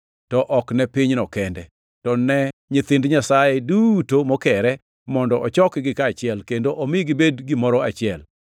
to ok ne pinyno kende, to ne nyithind Nyasaye duto mokere, mondo ochokgi kaachiel, kendo omi gibed gimoro achiel.